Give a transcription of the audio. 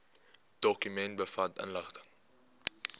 dokument bevat inligting